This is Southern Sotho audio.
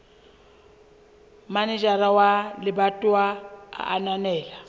manejara wa lebatowa a ananela